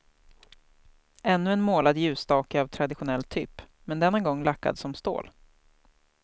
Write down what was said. Ännu en målad ljusstake av traditionell typ, men denna gång lackad som stål.